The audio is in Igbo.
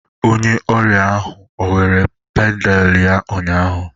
Onye ọrịa ahụ ọ were pandal ya ụnyaahụ?